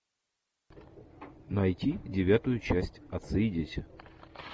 найти девятую часть отцы и дети